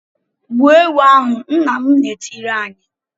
"Gbuo ewu ahụ!" Nna m na-etiri anyị.